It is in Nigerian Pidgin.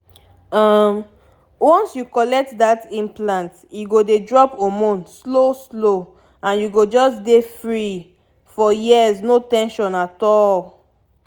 um once you collect that implant e go dey drop hormone slow-slow — and you go just dey free for years no ten sion at all!